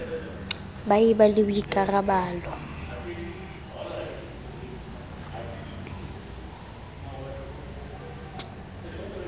ba e ba le boikarabalo